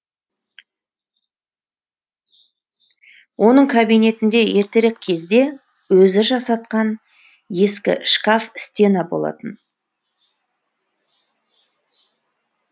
оның кабинетінде ертерек кезде өзі жасатқан ескі шкаф стена болатын